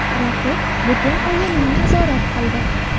Raqib butun o‘yinni nazorat qildi.